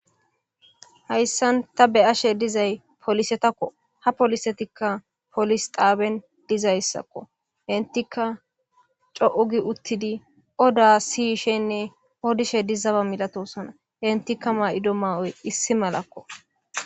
Hayssan ta be'ashe dizayi poolisetakko ha poolisetikka poolese xaaban dizayssakko. Enttikka coo giidi uttidi oda siyishenne odishe de'eetessi.